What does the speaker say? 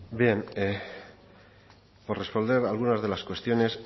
bien por responder a algunas de las cuestiones